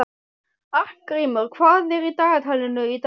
Arngrímur, hvað er í dagatalinu í dag?